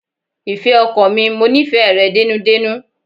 Ìfẹ́ ọkàn mi, mo nífẹ̀ẹ́ rẹ dénúdénú.